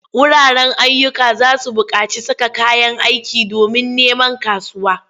Wuraren ayyuka za su buƙaci saka kayan aiki domin neman kasuwa.